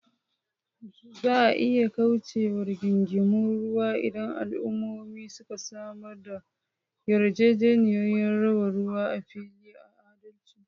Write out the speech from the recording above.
Za a iya kauce wa rigingimun ruwa idan al’ummomi suka samar da yarjejeniyoyin raba ruwa a fili da adalci.